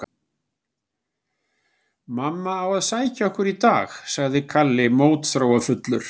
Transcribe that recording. Mamma á að sækja okkur í dag, sagði Kalli mótþróafullur.